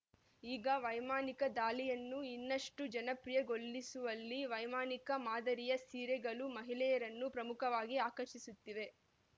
ಈಗ ವೈಮಾನಿಕ ದಾಳಿಯನ್ನು ಇನ್ನಷ್ಟು ಜನಪ್ರಿಯಗೊಳಿಸುವಲ್ಲಿ ವೈಮಾನಿಕ ಮಾದರಿಯ ಸೀರೆಗಳು ಮಹಿಳೆಯರನ್ನು ಪ್ರಮುಖವಾಗಿ ಆಕರ್ಷಿಸುತ್ತಿವೆ